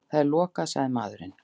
Það er lokað, sagði maðurinn.